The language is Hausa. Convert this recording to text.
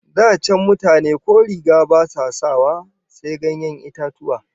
Da can mutane ko riga ba sa sawa, sai ganyen itatuwa